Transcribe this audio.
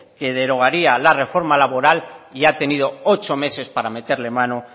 que derogaría la reforma laboral y ha tenido ocho meses para meterle mano